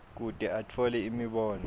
kute atfole imibono